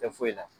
Tɛ foyi la